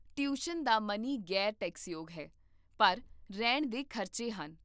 tuition ਦਾ money ਗ਼ੈਰ ਟੈਕਸਯੋਗ ਹੈ, ਪਰ ਰਹਿਣ ਦੇ ਖ਼ਰਚੇ ਹਨ